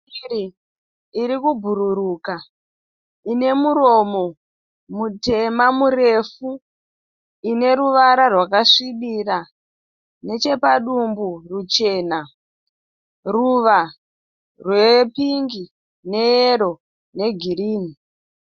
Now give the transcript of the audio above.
Shiri iri kubhururuka ine muromo mutema murefu. Ine ruvara rwakasvibira. Nechepadumbu ruchena. Ruva repingi, neyero negirini.